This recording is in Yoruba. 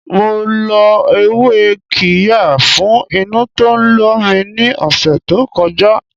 Mo lo ewé qirya fún inú tó ń lọ mi ní ọ̀sẹ̀ to koja